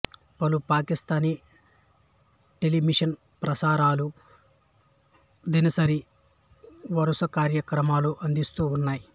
పలు పాకిస్థానీ టెలివిషన్ ప్రసారాలు దినసరి వరుసకార్యక్రమాలను అందిస్తూ ఉన్నాయి